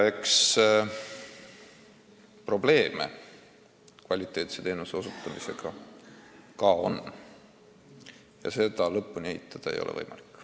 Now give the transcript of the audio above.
Probleeme kvaliteetse teenuse osutamisega siiski on ja seda lõpuni eitada ei ole võimalik.